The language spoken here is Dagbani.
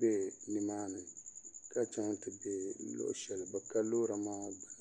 bɛ nimaani ka chɛŋ ti bɛ luɣushɛli bi ka loori maa gbuni